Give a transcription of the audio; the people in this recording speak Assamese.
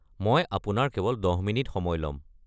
মই আপোনাৰ কেৱল ১০ মিনিট সময় ল'ম।